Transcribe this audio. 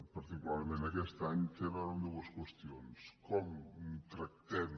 particularment en aquest any tenen a veure amb dues qüestions com tractem